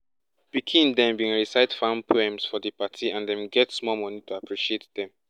pikin dem bin recite farm poems for di party and dem get small money to appreciate dem